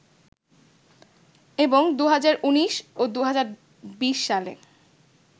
এবং ২০১৯ ও ২০২০ সালে